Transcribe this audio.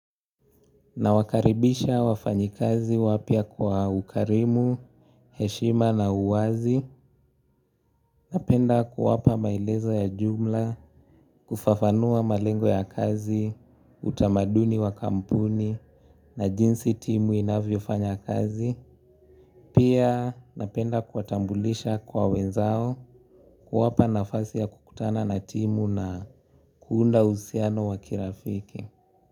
Nawakaribisha wafanyikazi wapya kwa ukarimu, heshima na uwazi. Napenda kuwapa maelezo ya jumla, kufafanua malengo ya kazi, utamaduni wa kampuni na jinsi timu inavyofanya kazi. Pia napenda kuwatambulisha kwa wenzao, kuwapa nafasi ya kukutana na timu na kuunda uhusiano wa kirafiki.